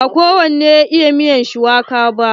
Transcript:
Ba kowane ya iya miyar shuwaka ba.